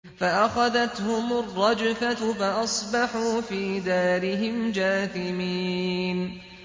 فَأَخَذَتْهُمُ الرَّجْفَةُ فَأَصْبَحُوا فِي دَارِهِمْ جَاثِمِينَ